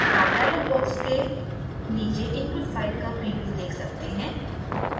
आप dialog box के नीचे input file का प्रीव्यू देख सकते हैं